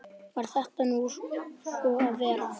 Varð þetta nú svo að vera.